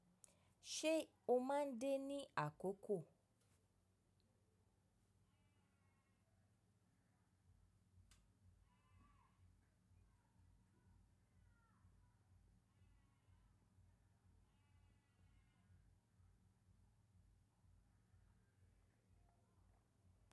Ṣé o máa ń dé ní àkókò?